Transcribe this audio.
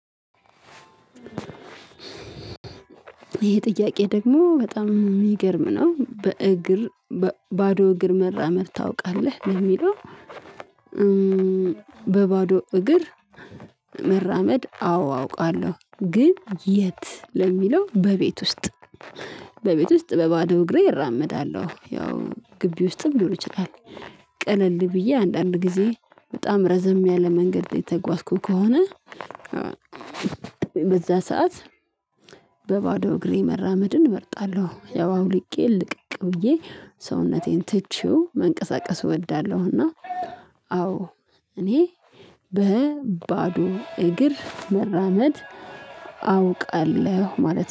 ይሄ ጥያቄ ደግሞ በጣም የሚገርም ነው በእግር ባዶ እግር መራመድ ታውቃለህ ነው የሚለው? በባዶ እግር መራመድ አዎ አውቃለሁ ግን የት ለሚለው በቤት ውስጥ በቤት ውስጥ በባዶ እግሬ እራመዳለሁ ያው ግቢ ውስጥም ሊሆን ይችላል። ቀለል ብዬ አንዳንድ ጊዜ በጣም ረዘም ያለ መንገድ የተጓዝኩ ከሆነ። በዛ ሰዓት በባዶ እግሬ መራመድን እመርጣለሁ። ያው አውልቄ ልቅቅ ብዬ ሰውነቴን ትቼው መንቀሳቀስ እወዳለሁና። አዎ እኔ በባዶ እግር መራመድ አውቃለሁ ማለት ነው